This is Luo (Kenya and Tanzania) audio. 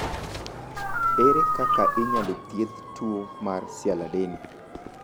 Ere kaka inyalo thiedh tuo mar sialadeni?